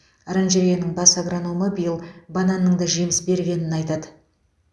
оранжереяның бас агрономы биыл бананның да жеміс бергенін айтады